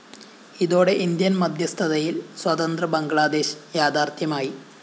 ഇതോടെ ഇന്ത്യന്‍ മദ്ധ്യസ്ഥതയില്‍ സ്വതന്ത്ര ബംഗ്ലാദേശ് യാഥാര്‍ത്ഥ്യമായി